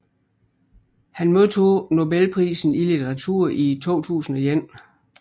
Han modtog nobelprisen i litteratur i 2001